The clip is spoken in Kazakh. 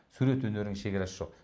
сурет өнерінің шегарасы жоқ